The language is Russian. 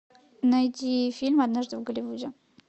найди фильм однажды в голливуде